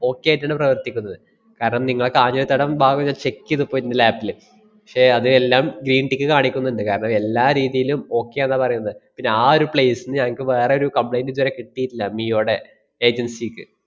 okay ആയിട്ടാണ്പ്ര വർത്തിക്കുന്നത്. കാരണം നിങ്ങളെ കാഞ്ഞിരത്തടം ഭാഗം ഞാൻ check ചെയ്തപ്പൊ ഇന്‍റെ lap ല് ~ക്ഷേ അത് എല്ലാം green tick കാണിക്കുന്നുണ്ട്. കാരണം എല്ലാ രീതീലും okay യാന്നാ പറയുന്നെ. പിന്നെ ആ ഒരു place ന്ന് ഞങ്ങക്ക് വേറെയൊരു complaint ഇതുവരെ കിട്ടിയിട്ടില്ല, മിയോടെ agency ക്ക്.